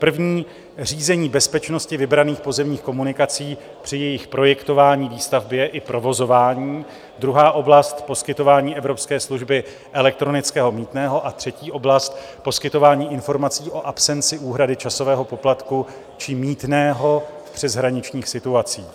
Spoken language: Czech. První - řízení bezpečnosti vybraných pozemních komunikací při jejich projektování, výstavbě i provozování, druhá oblast - poskytování evropské služby elektronického mýtného a třetí oblast - poskytování informací o absenci úhrady časového poplatku či mýtného v přeshraničních situacích.